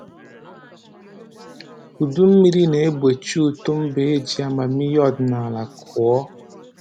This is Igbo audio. Udu mmiri na-egbochi uto mba eji amamihe ọdịnaala kụọ